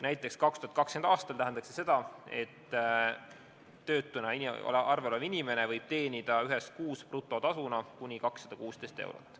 Näiteks 2020. aastal tähendaks see seda, et töötuna arvel olev inimene võib teenida ühes kuus brutotasuna kuni 216 eurot.